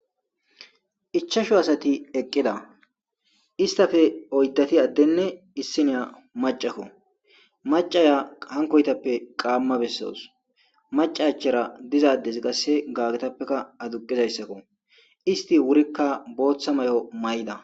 ichasho asati eqqida istafe oyddati addenne issiniya macakko macaya hankoytappe qaamma bessoos maca achara dizadesi qasse gagetappekka aduqizayssakko isti wurikka booththa may7o may7da